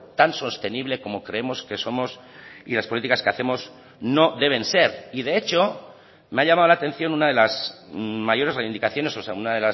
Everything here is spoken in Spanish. tan sostenible como creemos que somos y las políticas que hacemos no deben ser y de hecho me ha llamado la atención una de las mayores reivindicaciones o sea una